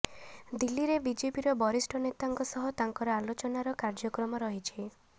ଦିଲ୍ଲୀରେ ବିଜେପିର ବରିଷ୍ଠ ନେତାଙ୍କ ସହ ତାଙ୍କର ଆଲୋଚନାର କାର୍ଯ୍ୟକ୍ରମ ରହିଛି